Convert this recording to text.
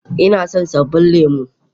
Ina son sabbin lemu